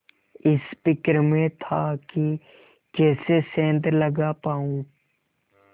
इस फिक्र में था कि कैसे सेंध लगा पाऊँ